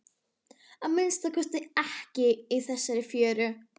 Að minnsta kosti ekki í þessari fjöru.